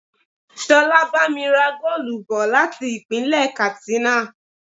Ṣolá bá mi ra goolu bò láti Ìpínlẹ̀ Katsina.